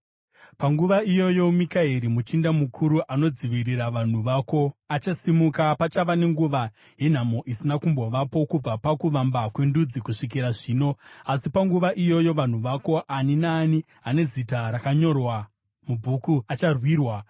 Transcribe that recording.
“Panguva iyoyo Mikaeri, muchinda mukuru anodzivirira vanhu vako, achasimuka. Pachava nenguva yenhamo isina kumbovapo kubva pakuvamba kwendudzi kusvikira zvino. Asi panguva iyoyo vanhu vako, ani naani ane zita rakanyorwa mubhuku, acharwirwa.